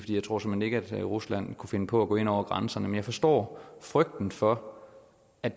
jeg tror såmænd ikke at rusland kunne finde på at gå ind over grænserne men jeg forstår frygten for at